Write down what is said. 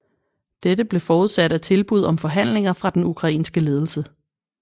Dette blev forudsat af tilbud om forhandlinger fra den ukrainske ledelse